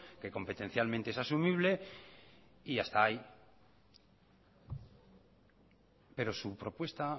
que competencialmente es asumible y hasta ahí pero su propuesta